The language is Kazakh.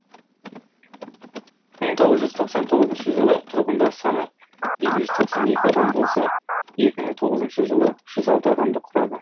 мың тоғыз жүз тоқсан тоғызыншы жылы тұрғындар саны екі жүз тоқсан екі адам болса екі мың тоғызыншы жылы үш жүз алты адамды құрады